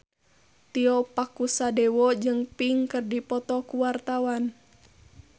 Tio Pakusadewo jeung Pink keur dipoto ku wartawan